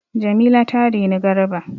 Jamila ta reni Garba.